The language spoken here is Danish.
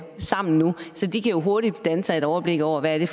sammen nu så de kan hurtigt danne sig et overblik over hvad det